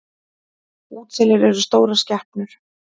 Útselir eru stórar skepnur.